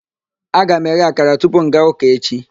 Aga m eghe akara tupu m gaa ụka echi